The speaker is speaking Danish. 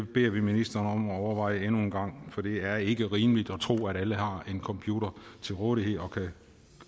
beder vi ministeren om at overveje endnu en gang for det er ikke rimeligt at tro at alle har en computer til rådighed og kan